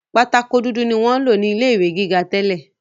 Pátákó dúdú ni wọ́n ń lò ní ilé ìwé gíga tẹ́lẹ̀